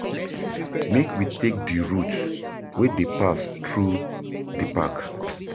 Make we take di route wey dey pass through di park.